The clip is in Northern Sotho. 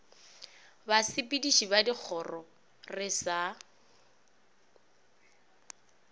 basepediši ba dikgoro re sa